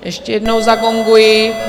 Ještě jednou zagonguji.